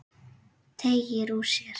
Teygir úr sér.